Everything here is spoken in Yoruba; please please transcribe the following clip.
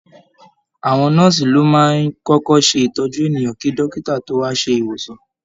Àwọn nọ́ọ̀sì ló máa ń kọ́kọ́ ṣé ìtọ́jú ènìyàn kí dọ́kítá tó wá ṣe ìwòsàn